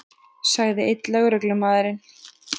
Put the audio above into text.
sagði einn lögreglumaðurinn.